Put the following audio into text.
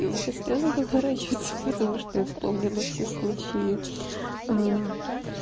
и у тебя слёзы наворачиваются потому что я вспомнила все случаи